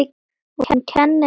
Hún kennir söng.